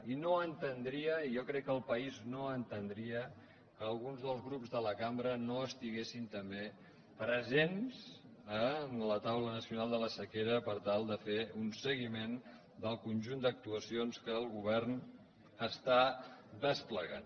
i no entendria i jo crec que el país no entendria que algun dels grups de la cambra no estiguessin també presents a la taula nacional de la sequera per tal de fer un seguiment del conjunt d’actuacions que el govern està desplegant